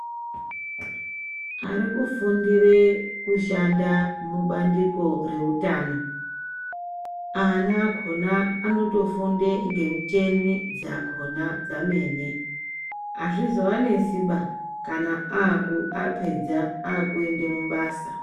Ari kufundire kushanda mubandiko reutano ana akhona anotofunde ngemucheni dzakona dzamene hazvizo vanesimba kana apedza akuenda mubasa.